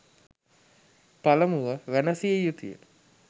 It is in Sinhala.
පළමුව වැනසිය යුතුය.